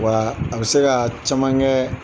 Wa a bɛ se ka caman kɛ